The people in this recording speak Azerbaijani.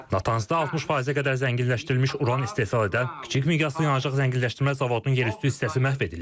Natanzda 60%-ə qədər zənginləşdirilmiş uran istehsal edən kiçik miqyaslı yanacaq zənginləşdirmə zavodunun yerüstü hissəsi məhv edilib.